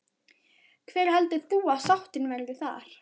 Hver heldur þú að sáttin verði þar?